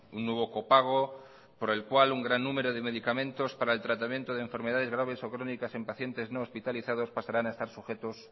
un nuevo copago por el cual un gran número de medicamentos para el tratamientos de enfermedades graves o crónicas en pacientes no hospitalizados pasarán a estar sujetos